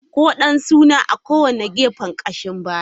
Kodan suna a kowane gefen kashin baya.